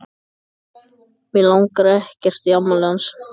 Mig langar ekkert í afmælið hans.